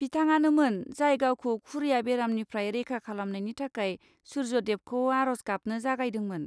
बिथाङानोमोन, जाय गावखौ खुरिया बेरामनिफ्राय रैखा खालामनायनि थाखाय सुर्य देबखौ आर'ज गाबनो जागायदोंमोन।